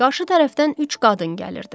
Qarşı tərəfdən üç qadın gəlirdi.